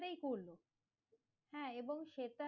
করলো হ্যাঁ এবং